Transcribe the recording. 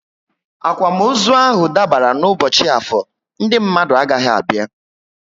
Akwamozu ahụ dabara n' ubochi Afor, Ndị mmadụ agaghị abịa